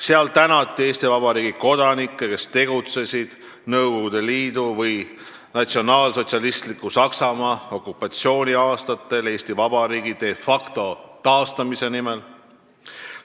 Seal tänati Eesti Vabariigi kodanikke, kes tegutsesid Nõukogu Liidu või natsionaalsotsialistiku Saksamaa okupatsiooni aastatel Eesti Vabariigi de facto taastamise nimel.